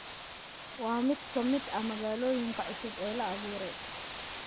Waa mid ka mid ah magaalooyinka cusub ee la abuuray.